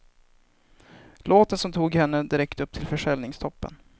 Låten som tog henne direkt upp i försäljningstoppen.